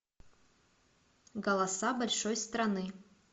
голоса большой страны